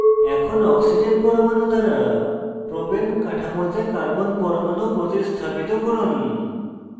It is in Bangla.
এখন oxygen পরমাণু দ্বারা propane কাঠামোতে carbon পরমাণু প্রতিস্থাপিত করুন